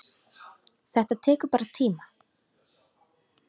Þetta tekur bara tíma.